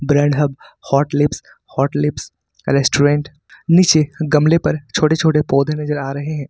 Brand hub hot lips hot lips restaurant नीचे गमले पर छोटे छोटे पौधे नजर आ रहे हैं।